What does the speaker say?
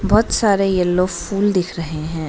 बहोत सारे येलो फूल दिख रहे हैं।